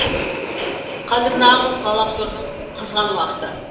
қазір нағыз ғаламтордың қызған уақыты